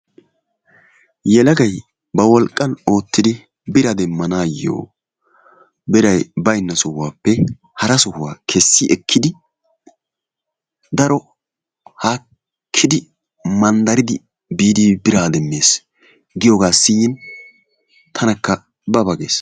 Yelagay ba wolqqan oottidi biraa demmanaayyo biray baynna sohuwappe hara sohuwa kessi ekkidi daro haakkidi, manddaridi biidi biraa demmees giyogaa siyin tanakka ba ba gees.